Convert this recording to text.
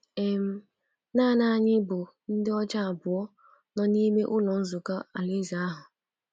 um Nanị anyị bụ ndị ọcha abụọ nọ n’ime Ụlọ Nzukọ Alaeze ahụ.